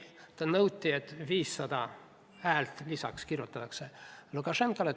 Temalt nõuti, et Lukašenkale kirjutataks 500 häält juurde.